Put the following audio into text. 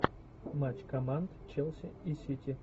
матч команд челси и сити